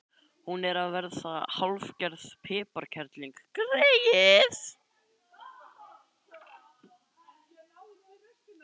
Hún er að verða hálfgerð piparkerling, greyið.